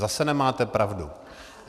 Zase nemáte pravdu.